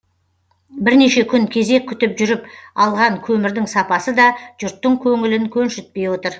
бірнеше күн кезек күтіп жүріп алған көмірдің сапасы да жұрттың көңілін көншітпей отыр